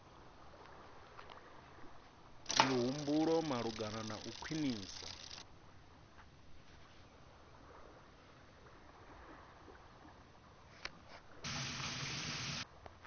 mihumbulo malugana na u khwinisa